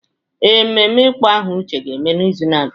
Ee, mmemme ịkpọ aha Uche ga-eme n’izu na-abịa.